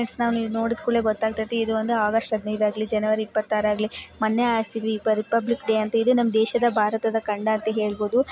friends ನೀವು ನೋಡಿದ್ ಕೊಡ್ಲೇ ಗೊತ್ತಾಗ್ತಯ್ತಿ ಇದು ಒಂದು ಆಗಸ್ಟ್ ಹದಿನೈದು ಆಗ್ಲಿ ಜನವರಿ ಇಪ್ಪತ್ತಆರು ಆಗ್ಲಿ ಮೊನ್ನೆ ಆರ್ಸುದ್ವಿ ರಿಪಬ್ಲಿಕ್ ಡೇ ಅಂತ ಇದು ನಮ್ಮ ದೇಶದ ಭಾರತದ ಖಂಡ ಅಂತ ಹೇಳಬಹುದು --